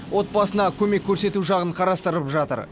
отбасына көмек көрсету жағын қарастырып жатыр